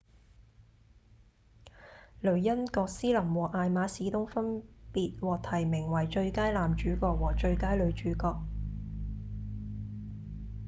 雷恩‧葛斯林和艾瑪‧史東分別獲提名為最佳男主角和最佳女主角